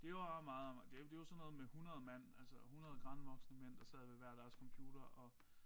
Det var meget det det var sådan noget med 100 mand altså 100 grandvoksne mænd der sad ved hver deres computer og